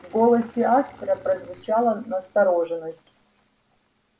в голосе аспера прозвучала настороженность